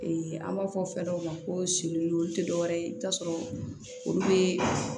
an b'a fɔ fɛn dɔw ma ko olu tɛ dɔ wɛrɛ ye i bɛ t'a sɔrɔ olu bɛ